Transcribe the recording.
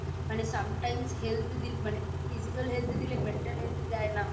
মানে Sometimes Health এর দিক মানে Physical health দিলে Mental health দেয় না